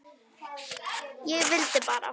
SOPHUS: Ég vildi bara.